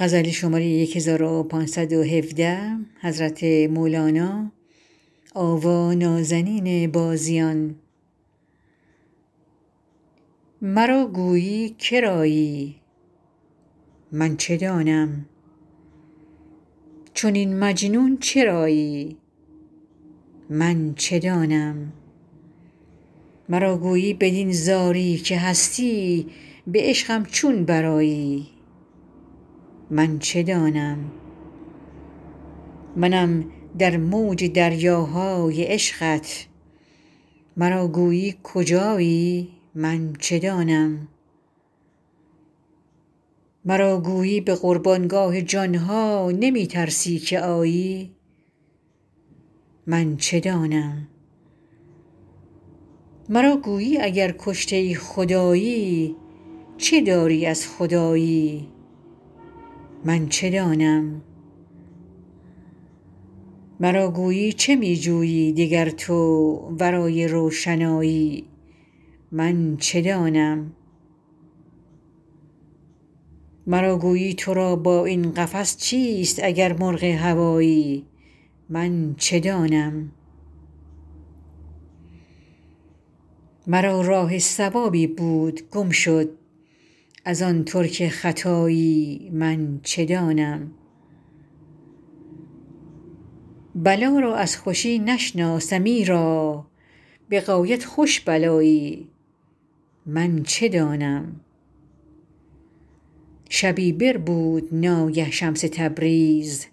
مرا گویی که رایی من چه دانم چنین مجنون چرایی من چه دانم مرا گویی بدین زاری که هستی به عشقم چون برآیی من چه دانم منم در موج دریاهای عشقت مرا گویی کجایی من چه دانم مرا گویی به قربان گاه جان ها نمی ترسی که آیی من چه دانم مرا گویی اگر کشته خدایی چه داری از خدایی من چه دانم مرا گویی چه می جویی دگر تو ورای روشنایی من چه دانم مرا گویی تو را با این قفس چیست اگر مرغ هوایی من چه دانم مرا راه صوابی بود گم شد ار آن ترک ختایی من چه دانم بلا را از خوشی نشناسم ایرا به غایت خوش بلایی من چه دانم شبی بربود ناگه شمس تبریز